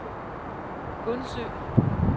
Gundsø